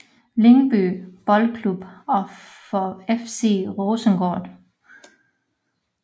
Lyngby Boldklub og for FC Rosengård